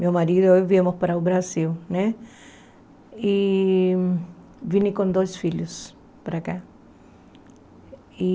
Meu marido e eu viemos para o Brasil né e vim com dois filhos para cá.